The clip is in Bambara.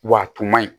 W'a tun man ɲi